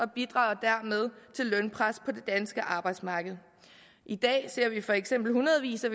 bidrager dermed til lønpres på det danske arbejdsmarked i dag ser vi for eksempel hundredvis af